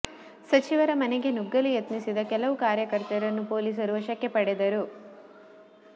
ಸಚಿವರ ಮನೆಗೆ ನುಗ್ಗಲು ಯತ್ನಿಸಿದ ಕೆಲವು ಕಾರ್ಯಕರ್ತರನ್ನು ಪೊಲೀಸರು ವಶಕ್ಕೆ ಪಡೆದರು